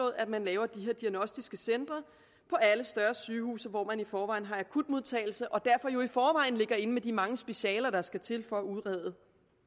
at man laver de her diagnostiske centre på alle større sygehuse hvor man i forvejen har akutmodtagelse og derfor jo i forvejen ligger inde med de mange specialer der skal til for at udrede